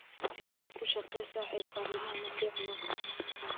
Si adag u shaqee saaxiib, arrimuhu ma fiicna.